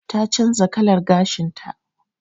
Ta canza kalar gashin ta.